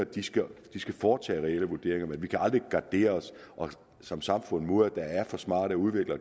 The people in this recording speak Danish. de skal foretage reelle vurderinger men vi kan aldrig gardere os som samfund mod at der er for smarte udviklere